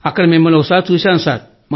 అక్కడ మిమ్మల్ని ఒకసారి చూశాం సార్